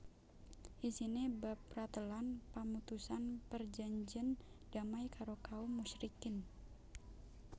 Isiné bab pratélan pamutusan perjanjèn damai karo kaum musyrikin